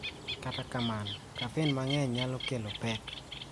Kata kamano, kafein mang�eny nyalo kelo pek.